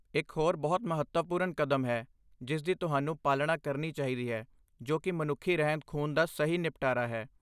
ਇਕ ਹੋਰ ਬਹੁਤ ਮਹੱਤਵਪੂਰਨ ਕਦਮ ਹੈ ਜਿਸ ਦੀ ਤੁਹਾਨੂੰ ਪਾਲਣਾ ਕਰਨੀ ਚਾਹੀਦੀ ਹੈ, ਜੋ ਕੀ ਮਨੁੱਖੀ ਰਹਿੰਦ ਖੂੰਹਦ ਦਾ ਸਹੀ ਨਿਪਟਾਰਾ ਹੈ